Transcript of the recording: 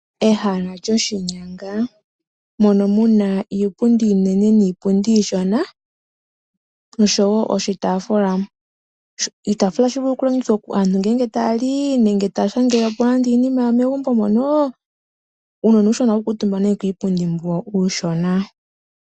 Ehala lyoshinyanga mono muna iipundi iinene niipundi iishona oshowo iitafula iitafula ohayi vulu okulongithwa uuna aantu taali nenge tashangeleko nande iinima yawo megumbo monoo uunona uushona ohawu kuutumba ne kupundi mbo uushona.